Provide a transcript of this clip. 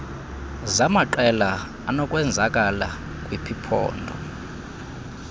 zamaqela anokwenzakala kwiphpondo